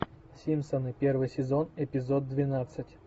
симпсоны первый сезон эпизод двенадцать